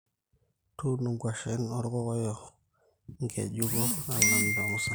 tuuno nkwashen olkokoyo ngejuko nalamita musan